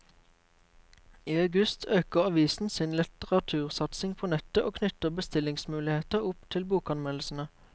I august øker avisen sin litteratursatsing på nettet og knytter bestillingsmuligheter opp til bokanmeldelsene.